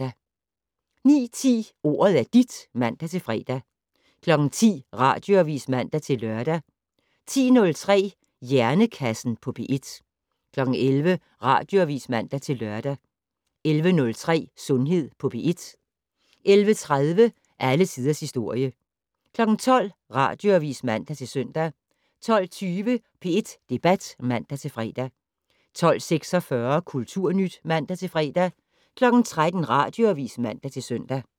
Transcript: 09:10: Ordet er dit (man-fre) 10:00: Radioavis (man-lør) 10:03: Hjernekassen på P1 11:00: Radioavis (man-lør) 11:03: Sundhed på P1 11:30: Alle tiders historie 12:00: Radioavis (man-søn) 12:20: P1 Debat (man-fre) 12:46: Kulturnyt (man-fre) 13:00: Radioavis (man-søn)